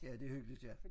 Ja det hyggeligt ja